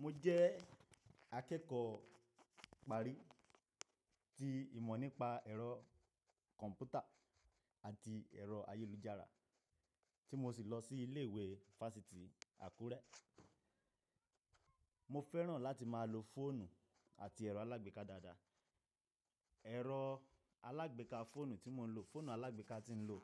Mo jẹ́ akẹ́kọ̀ọ́ ìparí ti ìmọ̀ nípa ẹ̀rọ kọ̀m̀pútà àti ẹ̀rọ ayélujára tí mo sì lọ sí ilé ìwé fásitì Àkúrẹ́. Mo fẹ́ràn láti máa lo fóònù àti ẹ̀rọ alágbèéká dáadáa. Ẹ̀rọ alágbèéká fóònù tí mò ń lo, fóònù alágbèéká tí ń lò,